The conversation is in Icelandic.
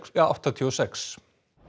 áttatíu og sex